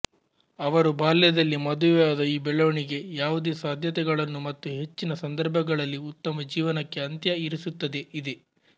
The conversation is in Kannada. ಅವರು ಬಾಲ್ಯದಲ್ಲೇ ಮದುವೆಯಾದ ಈ ಬೆಳವಣಿಗೆ ಯಾವುದೇ ಸಾಧ್ಯತೆಗಳನ್ನು ಮತ್ತು ಹೆಚ್ಚಿನ ಸಂದರ್ಭಗಳಲ್ಲಿ ಉತ್ತಮ ಜೀವನಕ್ಕೆ ಅಂತ್ಯ ಇರಿಸುತ್ತದೆ ಇದೆ